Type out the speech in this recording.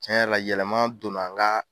Tiɲɛ yɛrɛ la, yɛlɛma donna n ka